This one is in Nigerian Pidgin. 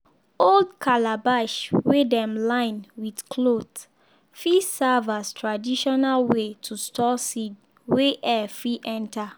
old calabash wey dem line with cloth fit serve as traditional way to store seed wey air fit enter.